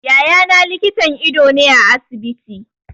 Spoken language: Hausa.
Yaya na likitan ido ne a asibiti.